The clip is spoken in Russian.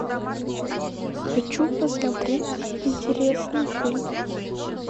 хочу посмотреть интересный фильм